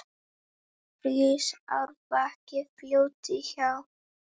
Rís árbakki fljóti hjá.